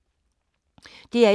DR1